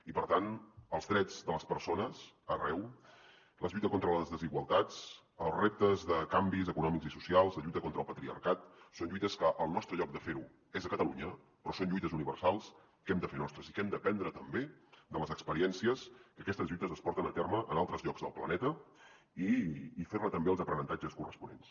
i per tant els drets de les persones arreu la lluita contra les desigualtats els reptes de canvis econòmics i socials la lluita contra el patriarcat són lluites que el nostre lloc de fer ho és a catalunya però són lluites universals que hem de fer nostres i que hem d’aprendre també de les experiències que aquestes lluites es porten a terme en altres llocs del planeta i fer ne també els aprenentatges corresponents